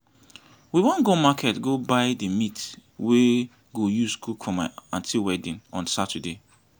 we wan go market go buy the meat we go use cook for my aunty wedding on saturday